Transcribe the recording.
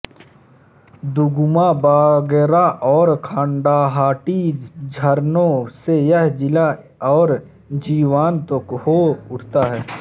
दुगुमा बागरा और खांडाहाटी झरनों से यह जिला और जीवंत हो उठता है